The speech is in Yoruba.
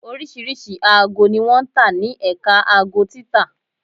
Oríṣiríṣi aago ni wọn ń tà ní Ẹ̀ka aago títa